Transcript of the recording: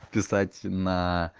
писать наа